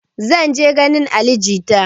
Zan je ganin ali jita